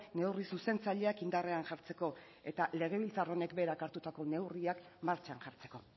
neurri zuzentzaileak indarrean jartzeko eta legebiltzar honek berak hartutako neurriak martxan jartzeko